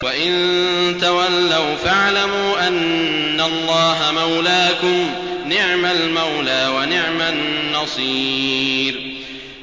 وَإِن تَوَلَّوْا فَاعْلَمُوا أَنَّ اللَّهَ مَوْلَاكُمْ ۚ نِعْمَ الْمَوْلَىٰ وَنِعْمَ النَّصِيرُ